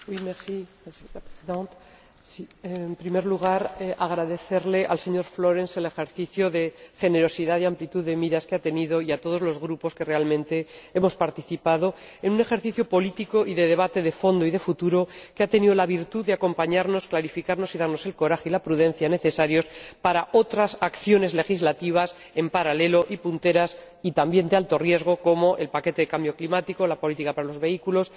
Señora Presidenta, en primer lugar, agradecerle al señor Florenz el ejercicio de generosidad y amplitud de miras que ha tenido y a todos los grupos que realmente hemos participado en un ejercicio político y de debate de fondo y de futuro que ha tenido la virtud de acompañarnos, clarificarnos y darnos el coraje y la prudencia necesarios para otras acciones legislativas en paralelo y punteras, y también de alto riesgo, como el paquete del cambio climático, la política para los vehículos,